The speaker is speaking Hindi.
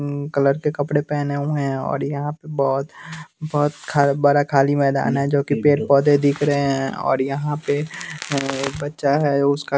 कलर के कपड़े पहने हुए हैं और यहाँ पर बहुत बहुत बड़ा खाली मैदान है जो कि पेड़ पौधे दिख रहे हैं और यहाँ पे एक बच्चा है उसका --